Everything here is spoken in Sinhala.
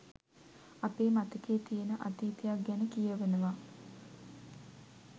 අපේ මතකෙ තියෙන අතීතයක් ගැන කියවනවා